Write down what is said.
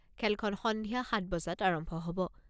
খেলখন সন্ধিয়া সাত বজাত আৰম্ভ হ'ব।